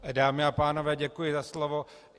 Dámy a pánové, děkuji za slovo.